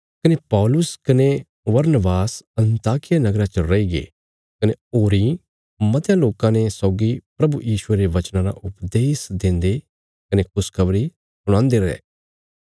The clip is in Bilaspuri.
कने पौलुस कने बरनबास अन्ताकिया नगरा च रईगे कने होरी मतयां लोकां ने सौगी प्रभु यीशुये रे वचना रा उपदेश देन्दे कने खुशखबरी सुणांदे रये